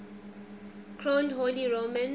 crowned holy roman